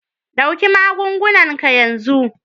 Ɗauki magungunan ka yanzun